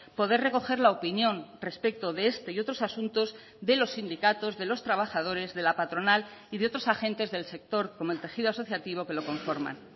poder recoger la opinión respecto de este y otros asuntos de los sindicatos de los trabajadores de la patronal y de otros agentes del sector como el tejido asociativo que lo conforman